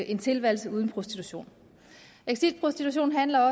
en tilværelse uden prostitution exit prostitution handler